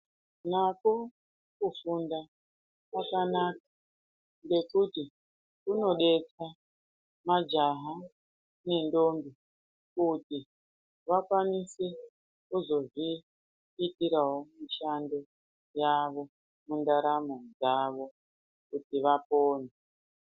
Nakwo kufunda kwakanaka ngekuti kunodetsera majaha nendombi kuti vakwanise kuzozviitirawo mishando yavo mundaramo dzavo kuti vapone.